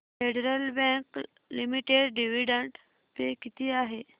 federal Bank Limited dividend पे किती आहे